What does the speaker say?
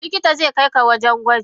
Likitan zaikaika wajen gwaji.